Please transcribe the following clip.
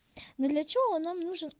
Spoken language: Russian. но для чего он нам нужен